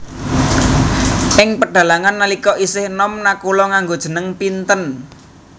Ing pedhalangan nalika isih enom Nakula nganggo jeneng Pinten